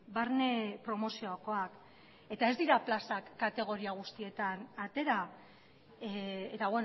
barne promoziokoak eta ez dira plazak kategoria guztietan atera eta